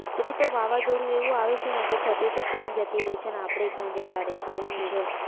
છત્રી તો વાવાઝોડું એવું આવે છે કે છત્રી ક્યાંય જતી રહે છે અને આપણે ક્યાં જતા રહે છે એવું છે